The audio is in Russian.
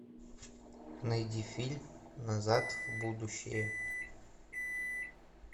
найди фильм назад в будущее